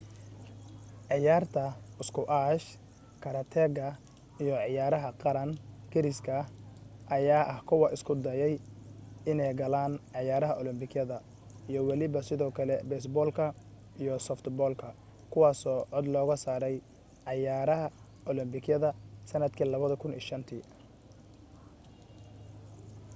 cayaarta squash karateega iyo cayaaraha garaan gariska ayaa ah kuwa isku dayay inee galaan cayaraha olombikada iyo waliba sidoo kale beesboolka iyo softball-ka kuwaaso cod looga saaray cayaarah olombikada sanadkii 2005